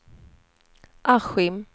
Askim